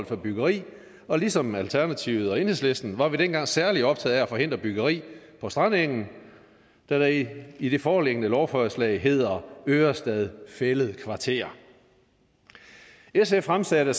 for byggeri og ligesom alternativet og enhedslisten var vi dengang særlig optaget af at forhindre byggeri på strandengen der i i det foreliggende lovforslag hedder ørestad fælled kvarter sf fremsatte